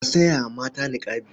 Ka saya mata niƙabi.